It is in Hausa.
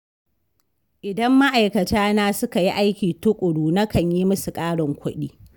Idan ma'aikatana suka yi aiki tuƙuru, na kan yi musu ƙarin kuɗi.